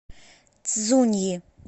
цзуньи